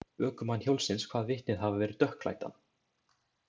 Ökumann hjólsins kvað vitnið hafa verið dökkklæddan.